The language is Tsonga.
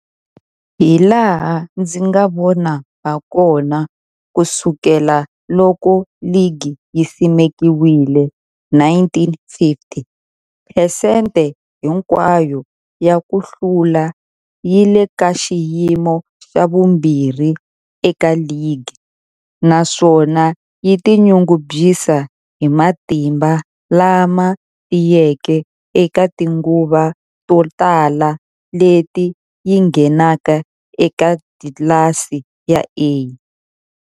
Hilaha ndzi nga vona hakona, ku sukela loko ligi yi simekiwile, 1950, phesente hinkwayo ya ku hlula yi le ka xiyimo xa vumbirhi eka ligi, naswona yi tinyungubyisa hi matimba lama tiyeke eka tinguva to tala leti yi ngheneke eka tlilasi ya A.